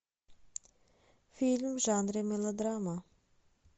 фильм в жанре мелодрама